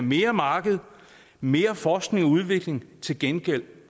mere marked mere forskning og udvikling til gengæld